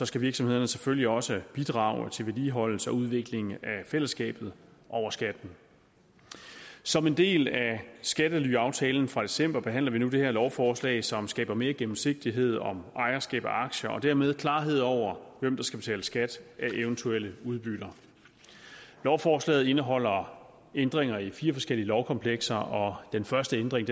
skal virksomhederne selvfølgelig også bidrage til vedligeholdelse og udvikling af fællesskabet over skatten som en del af skattelyaftalen fra december behandler vi nu det her lovforslag som skaber mere gennemsigtighed om ejerskab af aktier og dermed klarhed over hvem der skal betale skat af eventuelle udbytter lovforslaget indeholder ændringer i fire forskellige lovkomplekser og den første ændring